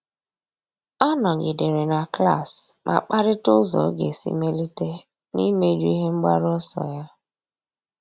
Ọ́ nọ́gídèrè na klas ma kparịta ụ́zọ́ ọ́ga esi mèlíté n’íméjú ihe mgbaru ọsọ ya.